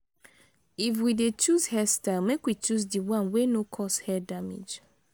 if we de choose hairstyle make we choose di one wey no cause hair damage